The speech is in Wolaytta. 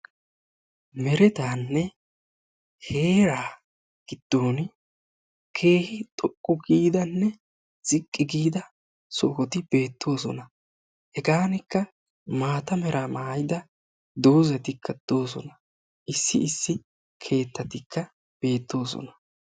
Meerettaanne heeraa gidon keehi xoqqu giidanne ziqqi giida sohoti beettoosona. hegaanikka maata meraa mayidda doozatikka beettoosona. issi issi keettatikka de'oosona.